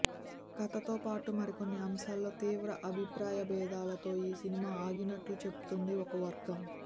కథతో పాటు మరికొన్ని అంశాల్లో తీవ్ర అభిప్రాయ భేదాలతో ఈ సినిమా ఆగినట్లుగా చెబుతోంది ఓ వర్గం